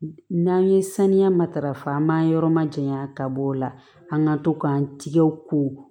N'an ye saniya matarafa an b'an yɔrɔ ma janya ka bɔ o la an ka to k'an tigɛ ko